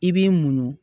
I b'i muɲu